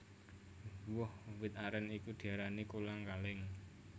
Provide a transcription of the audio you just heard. Woh wit arèn iku diarani kolang kaling